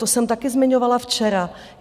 To jsem taky zmiňovala včera.